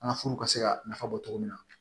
An ka furu ka se ka nafa bɔ cogo min na